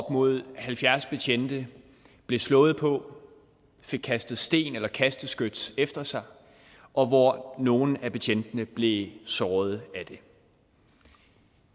mod halvfjerds betjente blev slået på fik kastet sten eller kasteskyts efter sig og hvor nogle af betjentene blev såret